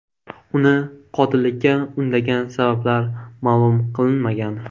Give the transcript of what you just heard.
Uni qotillikka undagan sabablar ma’lum qilinmagan.